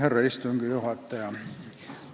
Härra istungi juhataja!